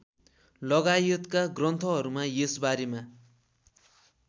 लगायतका ग्रन्थहरूमा यसबारेमा